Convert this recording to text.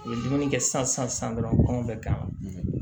U ye dumuni kɛ san san san dɔrɔn bɛ k'a ma